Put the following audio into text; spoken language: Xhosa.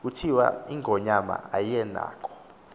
kuthiwa ingonyama ayinakho